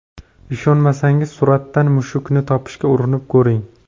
Ishonmasangiz, suratdan mushukni topishga urinib ko‘ring.